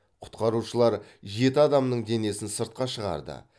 құтқарушылар жеті адамның денесін сыртқа шығарды